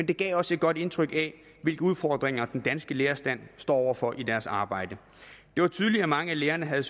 det gav også et godt indtryk af hvilke udfordringer den danske lærerstand står over for i deres arbejde det var tydeligt at mange af lærerne havde